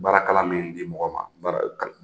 Baara kalan min di mɔgɔ ma